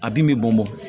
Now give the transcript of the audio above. A bin bɛ bɔn bɔn